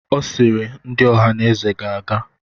Ọ sịịrị, ndị Ohaneze ga-aga!